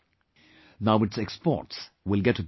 Now its exports will get a boost